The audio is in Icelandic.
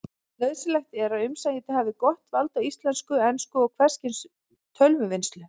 Nauðsynlegt er að umsækjandi hafi gott vald á íslensku, ensku og hvers kyns tölvuvinnslu.